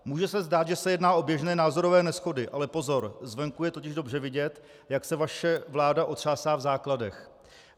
Může se zdát, že se jedná o běžné názorové neshody, ale pozor, zvenku je totiž dobře vidět, jak se vaše vláda otřásá v základech.